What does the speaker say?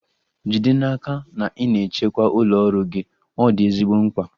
Jide n'aka na ị na-echekwa ụlọ ọrụ gị, ọ dị ezigbo mkpa.